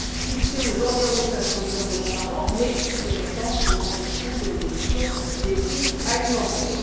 fixé aux environs de 500 millions d'euros par an, ce montant devant tenir compte de l'évolution des prix alimentaires.